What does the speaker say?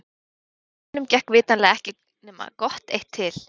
Kennurunum gekk vitanlega ekki nema gott eitt til.